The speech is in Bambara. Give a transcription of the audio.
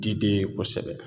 Diden ye kosɛbɛ